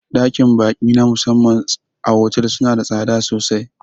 Ɗakin ba'i na musamman a fotel suna da tsada sosai